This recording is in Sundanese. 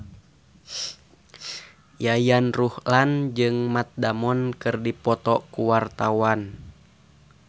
Yayan Ruhlan jeung Matt Damon keur dipoto ku wartawan